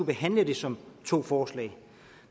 behandlet som to forslag